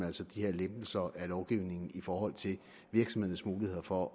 altså de her lempelser af lovgivningen i forhold til virksomhedernes muligheder for